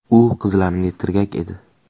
U qizlarimga tirgak edi.